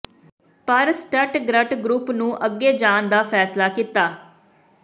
ਪਰ Stuttgart group ਨੂੰ ਅੱਗੇ ਜਾਣ ਦਾ ਫੈਸਲਾ ਕੀਤਾ ਹੈ